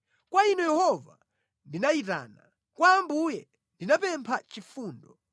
Kwa Inu Yehova ndinayitana; kwa Ambuye ndinapempha chifundo;